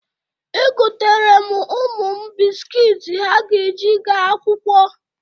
Egotere m ụmụ m biskiit ha ga-eji gaa akwụkwọ.